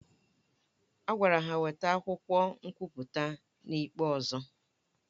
A gwara ha weta akwụkwọ nkwụpụta ha n'ikpe ọzọ